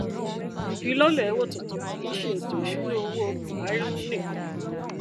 ìfilọlẹ owó tuntun kìí ṣe ètò ìṣúnná owó buhari um nìkan